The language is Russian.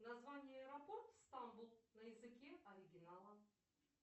название аэропорт стамбул на языке оригинала